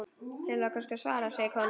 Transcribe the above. Ætlarðu að svara, segir konan.